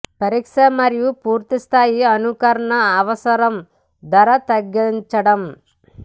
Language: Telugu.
పరీక్ష మరియు పూర్తి స్థాయి అనుకరణ అవసరం ధర తగ్గించడం